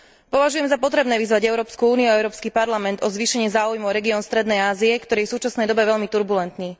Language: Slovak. Považujem za potrebné vyzvať Európsku úniu a Európsky parlament o zvýšenie záujmu o región strednej Ázie, ktorý je v súčasnej dobe veľmi turbulentný.